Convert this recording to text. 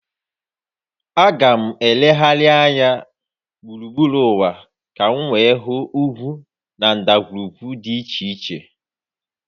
Aga m elegharị anya gburugburu ụwa ka m hụ ugwu na ndagwurugwu dị iche iche